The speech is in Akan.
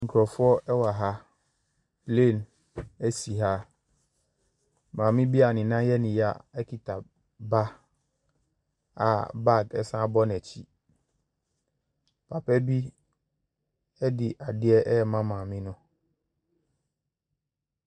Nkurɔfoɔ wɔ ha, plane si ha, maame bi a ne nan yɛ ne y akita ba a baage san bɔ n’akyi. Papa bi de adeɛ ɛrema maame no.